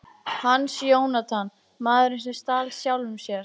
Hans Jónatan: Maðurinn sem stal sjálfum sér.